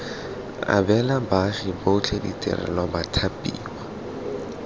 abela baagi botlhe ditirelo bathapiwa